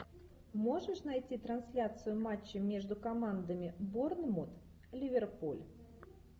можешь найти трансляцию матча между командами борнмут ливерпуль